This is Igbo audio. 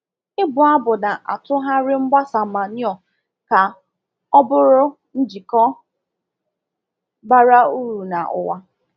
Ịbụ abụ na-atụgharị mgbasa manure ka ọ bụrụ njikọ bara uru na ụwa.